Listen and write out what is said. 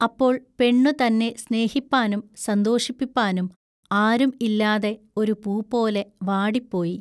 അപ്പോൾ പെണ്ണു തന്നെ സ്നേഹിപ്പാനും സന്തോഷിപ്പിപ്പാനും ആരും ഇല്ലാതെ ഒരു പൂപോലെ വാടിപ്പോയി.